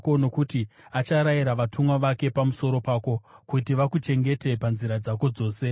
Nokuti acharayira vatumwa vake pamusoro pako, kuti vakuchengete panzira dzako dzose;